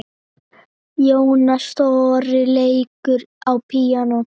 Jónas Þórir leikur á píanó.